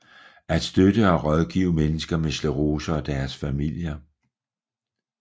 At støtte og rådgive mennesker med sclerose og deres familier